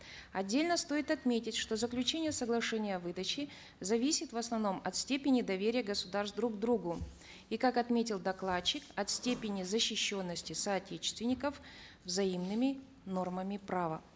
отдельно стоит отметить что заключение соглашения о выдаче зависит в основном от степени доверия государств друг другу и как отметил докладчик от степени защищенности соотечественников взаимными нормами права